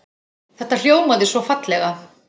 Þetta hljómaði svo fallega.